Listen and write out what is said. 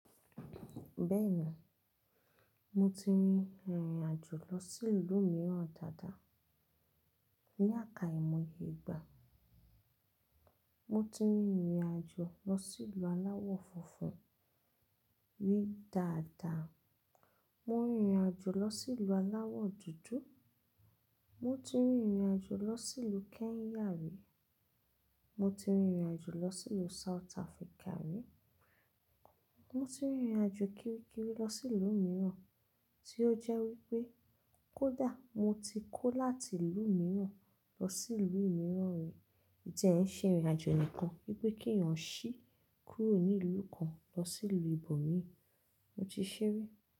Bẹ́ẹ̀ni, mo ti rin ìrìn àjò lọ sí ìlú mìíràn dáadáa. Ni àká ìmòye ìgbà, mo ti rin ìrìn àjò lọ sí ìlú aláwọ̀ funfun rí dáadáa, mo rin ìrìn àjò lọ sí ìlú aláwọ̀ dúdú, mo ti rin ìrìn àjò lọ sí ìlú Kenya rí, mo ti rin ìrìn àjò lọ sí ìlú South Africa rí, mo ti rin ìrìn àjò kiríkirí lọ sí ìlú mìíràn tí ó jẹ́ wípé kó dà mo ti kó láti ìlú mìíràn lọ sí ìlú mìíràn rí. Ko ti ẹ ń ṣe ìrìn àjò nìkan wípé kí èèyàn ṣí kúrò ní ìlú kan lọ sí ìlú ibòmí, mo ti ṣé rí.